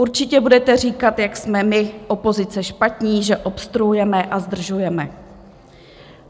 Určitě budete říkat, jak jsme my opozice špatní, že obstruujeme a zdržujeme.